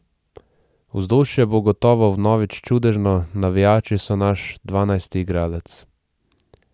Vzdušje bo gotovo vnovič čudežno, navijači so naš dvanajsti igralec.